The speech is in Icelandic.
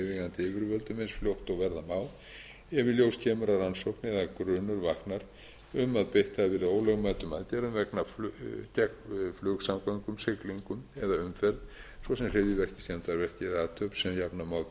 yfirvöldum eins fljótt og verða má ef í ljós kemur að rannsókn eða grunur vaknar um að beitt hafi verið ólögmætum aðgerðum gegn flugsamgöngum siglingum eða umferð svo sem hryðjuverki skemmdarverki eða athöfn sem jafna má til